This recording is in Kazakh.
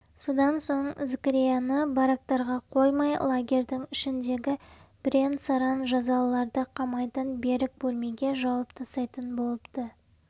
содан соң зікірияны барактарға қоймай лагерьдің ішіндегі бірен-саран жазалыларды қамайтын берік бөлмеге жауып тастайтын болыпты